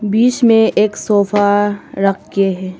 बीच में एक सोफा रखे है।